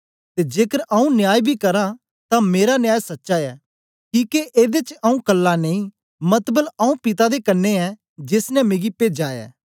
ते जेकर आऊँ न्याय बी करां ते मेरा न्याय सच्चा ऐ किके एदे च आऊँ कल्ला नेई मतबल आऊँ पिता दे कन्ने ऐं जेस ने मिगी पेजा ऐ